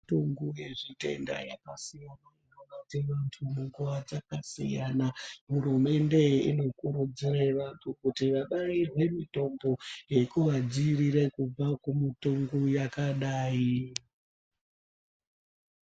Tongo yezvitenda yakasiyana inobate antu munguwa dzakasiyana hurumende inokurudzira vantu kuti vabairwe mutombo yekuvadziirira kubva kumutongo yakadai.